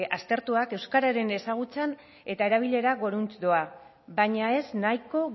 aztertuak euskararen ezagutzan eta erabilera goruntz doa baina ez nahiko